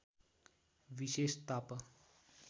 विशेष ताप